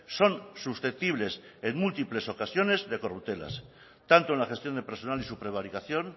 son susceptibles en múltiples ocasiones de corruptelas tanto en la gestión de personal y su prevaricación